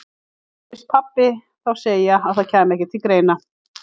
Mér heyrðist pabbi þá segja að það kæmi ekki til greina.